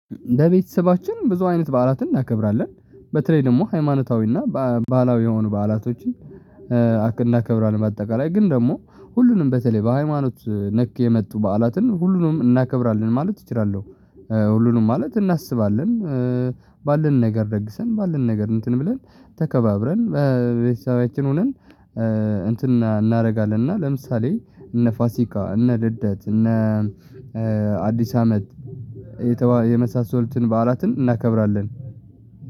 በቤተሰባችን ብዙ አይነት በዓላትን እናከብራለን በተለይ ደግሞ ሃይማኖታዊ እና ባህላዊ የሆኑ በዓላቶችን። በአጠቃላይ ግን ደግሞ ሁሉንም በተለይ በሃይማኖት ነክ የመጡ በዓላትን ሁሉንም እናከብራለን ማለት እችላለሁ። ሁሉንም ማለት እናስባለን። ባለን ነገር ደግሰን ባለን ነገር እንትን ብለን ተከባብረን ቤተሰባችን ሆነን እንትን እናደርጋለን። እና ለምሳሌ እነ ፋሲካ እነ ልደት እነ አዲስ አመት የመሳሰሉትን በዓላትን እናከብራለን።